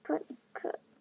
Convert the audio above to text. Var þar í þrjá mánuði.